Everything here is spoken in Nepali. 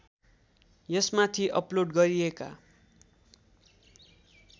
यसमाथि अपलोड गरिएका